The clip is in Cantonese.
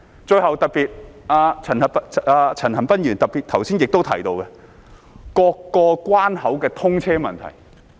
最後，陳恒鑌議員剛才特別提到各個關口的通車問題。